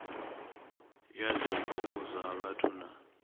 ya zwiko zwa vhathu na